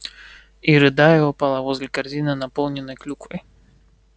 и рыдая упала возле корзины наполненной клюквой